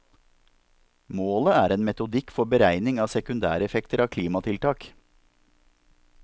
Målet er en metodikk for beregning av sekundæreffekter av klimatiltak.